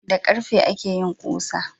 Da karfe akeyin kusa